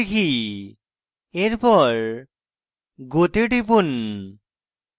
এখন আমি আমার পাসওয়ার্ড লিখি